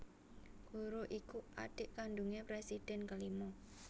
Guruh iku adhik kandungé presiden kelima